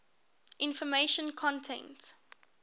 information content